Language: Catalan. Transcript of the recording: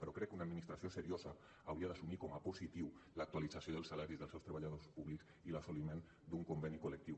però crec que una administració seriosa hauria d’assumir com a positiva l’actualització dels salaris dels seus treballadors públics i l’assoliment d’un conveni col·lectiu